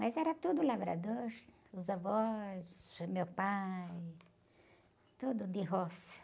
Mas era tudo labrador, os avós, meu pai, tudo de roça.